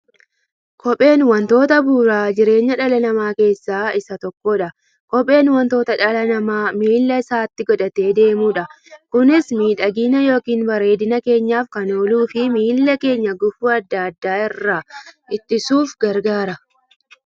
Kopheen wantoota bu'uura jireenya dhala namaa keessaa isa tokkodha. Kopheen wanta dhalli namaa miilla isaatti godhatee deemudha. Kunis miidhagani yookiin bareedina keenyaf kan ooluufi miilla keenya gufuu adda addaa irraa ittisuuf gargaara.